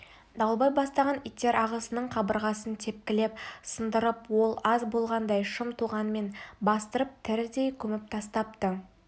дауылбай бастаған иттер ағасының қабырғасын тепкілеп сындырып ол аз болғандай шым тоғанмен бастырып тірідей көміп тастапты